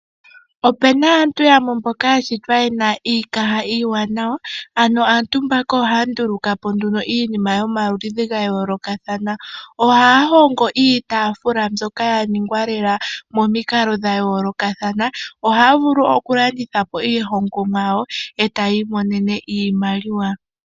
Ope na aantu yamwe mboka ya shitwa ye na iikaha iiwanawa, ano aantu mbaka ohaya nduluka po nduno iinima yomaludhi ga yoolokathana. Ohaya hongo iitaafula mbyoka ya ningwa lela momikalo dha yoolokathana. Ohaya vulu okulanditha po iihongomwa yawo e ta yi imonene iimaliwa.